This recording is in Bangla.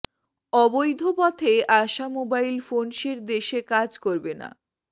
অবৈধ পথে আসা মোবাইল ফোনসেট দেশে কাজ করবে না